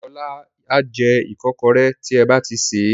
Ọlá a jẹ ìkọ́kọrẹ́ tí ẹ ba ti sè é.